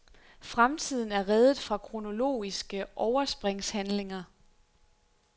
Fremtiden er reddet fra kronologiske overspringshandlinger.